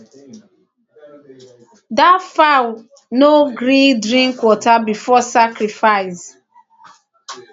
that fowl no gree drink water before sacrifice